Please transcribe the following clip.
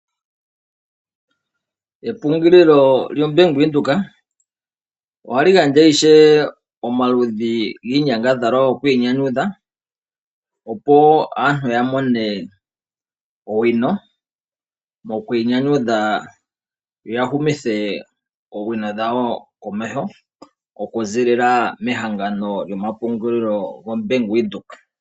Epungulilo lyoBank Windhoek ohali gandja ishewe omaludhi giinyangadhalwa yoku inyanyudha. Opo aantu ya mone owino moku inyanyudha yoya humithe oowino dhawo komeho. Oku zilila mehagano yomapungulilo gombanga yavule.